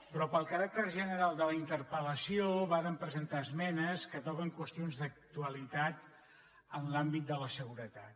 però pel caràcter general de la interpel·lació vàrem presentar esmenes que toquen qüestions d’actualitat en l’àmbit de la seguretat